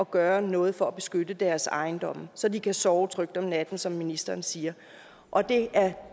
gøre noget for at beskytte deres ejendomme så de kan sove trygt om natten som ministeren siger og det er